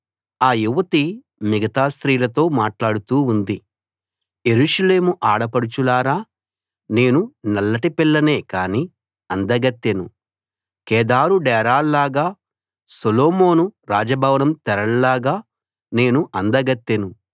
ఆ యువతి మిగతా స్త్రీలతో మాట్లాడుతూ ఉంది యెరూషలేము ఆడపడుచులారా నేను నల్లటి పిల్లనే కానీ అందగత్తెను కేదారు డేరాల్లాగా సొలొమోను రాజభవనం తెరల్లాగా నేను అందగత్తెను